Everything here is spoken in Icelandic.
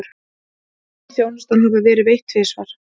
Mun þjónustan hafa verið veitt tvisvar